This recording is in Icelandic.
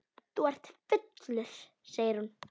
Þú ert fullur, segir hún.